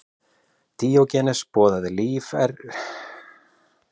Díógenes boðaði líferni í samræmi við náttúruna.